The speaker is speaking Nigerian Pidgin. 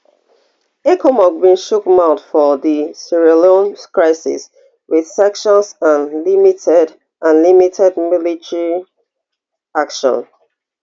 ecomog bin chiok mouth for di sierra leone crisis wit sanctions and limited and limited military action